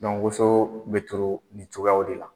woso bɛ turu ni cogoyaw de la.